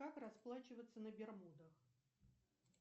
как расплачиваться на бермудах